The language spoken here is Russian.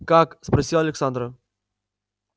как спросил александра